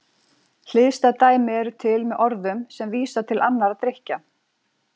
Hliðstæð dæmi eru til með orðum sem vísa til annarra drykkja.